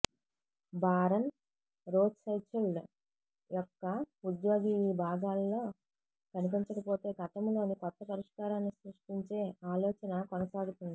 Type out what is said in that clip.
Baron Rothschild యొక్క ఉద్యోగి ఈ భాగాలలో కనిపించకపోతే గతంలో కొత్త పరిష్కారాన్ని సృష్టించే ఆలోచన కొనసాగుతుంది